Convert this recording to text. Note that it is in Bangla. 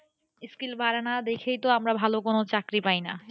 skill বাড়ে না দেখেই তো আমরা ভালো কোন চাকরি পাইনা।